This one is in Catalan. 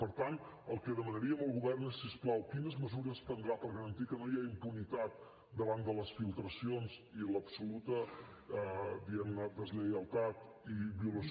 per tant el que demanaríem al govern és si us plau quines mesures prendrà per garantir que no hi ha impunitat davant de les filtracions i l’absoluta diguem ne deslleialtat i violació